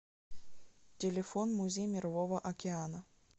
телефон музей мирового океана